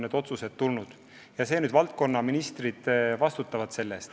Nüüd valdkonnaministrid vastutavad selle eest.